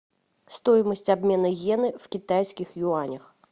стоимость обмена йены в китайских юанях